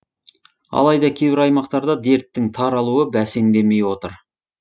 алайда кейбір аймақтарда дерттің таралуы бәсеңдемей отыр